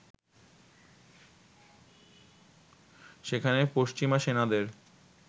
সেখানে পশ্চিমা সেনাদের